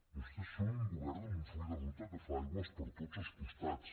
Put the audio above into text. vostès són un govern amb un full de ruta que fa aigües per tots els costats